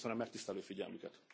Köszönöm megtisztelő figyelmüket!